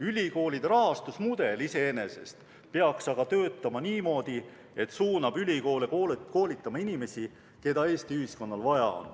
Ülikoolide rahastusmudel iseenesest peaks aga töötama niimoodi, et suunab ülikoole koolitama inimesi, keda Eesti ühiskonnal vaja on.